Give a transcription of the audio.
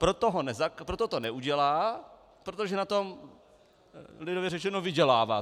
Proto to neudělá, protože na tom lidově řečeno vydělává.